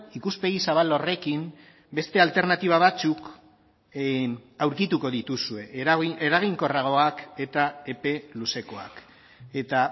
ikuspegi zabal horrekin beste alternatiba batzuk aurkituko dituzue eraginkorragoak eta epe luzekoak eta